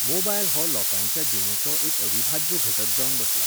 mobile हो लोकांच्या जिणेचो एक अविभाज्य घटक जावन बसला